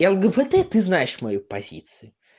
лгбт ты знаешь мою позицию